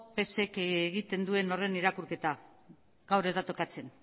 psek egiten duen horren irakurketa gaur ez da tokatzen